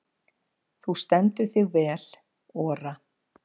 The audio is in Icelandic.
Þú stendur þig vel, Ora!